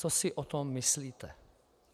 Co si o tom myslíte?